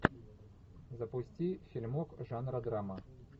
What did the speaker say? запусти фильмок жанра драма